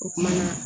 O kumana